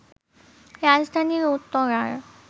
রাজধানীর উত্তরার